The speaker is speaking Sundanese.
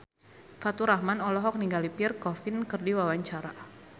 Faturrahman olohok ningali Pierre Coffin keur diwawancara